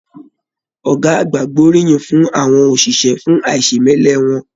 Ọgá àgbà gboriyin fún àwọn òṣìṣẹ́ fún aisemẹlẹ wọn.